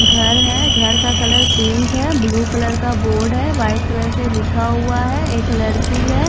घर है घर का कलर पिंक है ब्लू कलर का बोर्ड है वाइट कलर से लिखा हुआ है एक लड़की है।